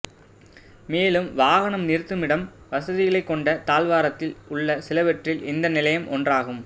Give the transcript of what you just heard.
மேலும் வாகன நிறுத்துமிடம் வசதிகளைக் கொண்ட தாழ்வாரத்தில் உள்ள சிலவற்றில் இந்த நிலையம் ஒன்றாகும்